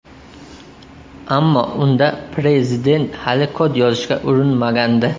Ammo unda prezident hali kod yozishga urinmagandi.